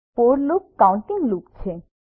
four loop counting loop છે